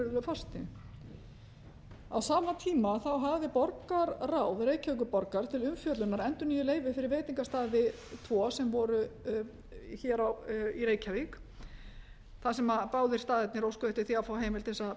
virðulegi forseti á sama tíma þá hafði borgarráð reykjavíkurborgar til umfjöllunar endurnýjuð leyfi fyrir veitingastaði tvo sem voru hér í reykjavík þar sem báðir staðirnir óskuðu eftir því að fá heimild til þess að